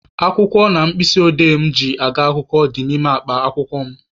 Akwụkwọ na mkpịsị odee mụ ji aga akwụkwọ dị n'ime akpa akwụkwọ mụ.